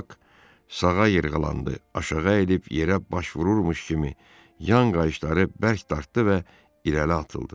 Bak sağa yırğılandı, aşağı əyilib yerə baş vururmuş kimi yan qayışları bərk dartdı və irəli atıldı.